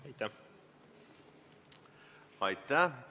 Aitäh!